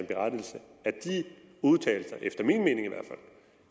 berettigelse har de udtalelser efter min mening